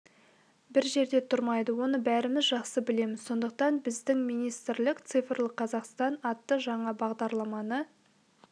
бір жерде тұрмайды оны бәріміз жақсы білеміз сондықтан біздің министрлік цифрлық қазақстан атты жаңа бағдарланы